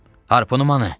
Harpunum hanı?